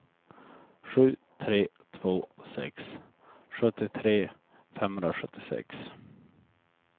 sju tre två sex sjuttiotre femhundrasjuttiosex